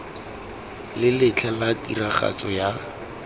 le letlha la tiragatso ya